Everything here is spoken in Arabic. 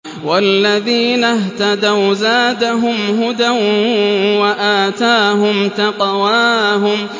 وَالَّذِينَ اهْتَدَوْا زَادَهُمْ هُدًى وَآتَاهُمْ تَقْوَاهُمْ